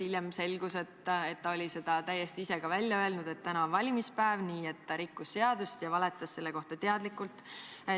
Hiljem selgus, et ta oli ka ise välja öelnud, et täna on valimispäev, nii et ta rikkus seadust ja valetas teadlikult.